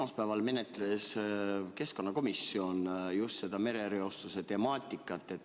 Esmaspäeval käsitles keskkonnakomisjon merereostuse temaatikat.